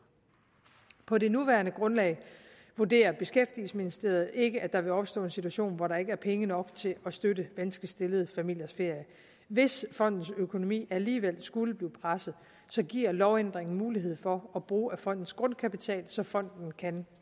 på det nuværende grundlag vurderer beskæftigelsesministeriet ikke at der vil opstå en situation hvor der ikke er penge nok til at støtte vanskeligt stillede familiers ferier hvis fondens økonomi alligevel skulle blive presset giver lovændringen mulighed for at bruge af fondens grundkapital så fonden kan